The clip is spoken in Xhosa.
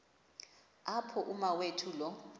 apho umawethu lo